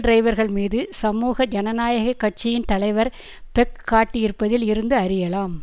டிரைவர்கள்மீது சமூக ஜனநாயக கட்சியின் தலைவர் பெக் காட்டியிருப்பதில் இருந்து அறியலாம்